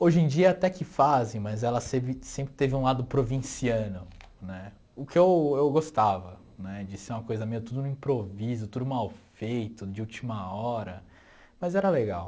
Hoje em dia até que fazem, mas ela sevi sempre teve um lado provinciano, né, o que eu eu gostava né, de ser uma coisa meio tudo no improviso, tudo mal feito, de última hora, mas era legal.